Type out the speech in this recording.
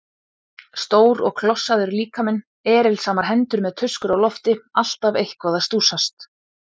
Stór og klossaður líkaminn, erilsamar hendur með tuskur á lofti, alltaf eitthvað að stússast.